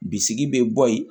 Bisigi bɛ bɔ yen